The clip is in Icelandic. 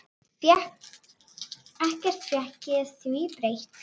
Ekkert fékk því breytt.